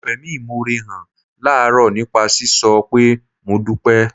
Mo fẹ̀mí ìmoore hàn láàárọ̀ nípa sísọ pé "Mo dúpẹ́"